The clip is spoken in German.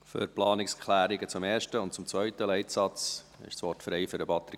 Für die Planungserklärungen zum ersten und zweiten Leitsatz ist das Wort frei für Patrick Freudiger.